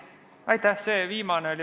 Aitäh!